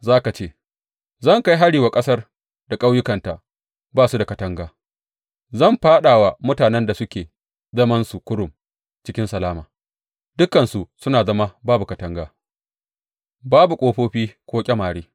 Za ka ce, Zan kai hari wa ƙasar da ƙauyukanta ba su da katanga; zan fāɗa wa mutanen da suke zamansu kurum cikin salama, dukansu suna zama babu katanga babu ƙofofi ko ƙyamare.